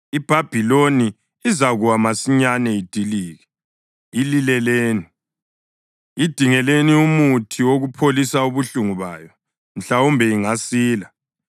IBhabhiloni izakuwa masinyane idilike. Ilileleni! Idingeleni umuthi wokupholisa ubuhlungu bayo; mhlawumbe ingasila.